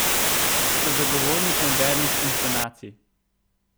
Ste zagovornik modernih inscenacij?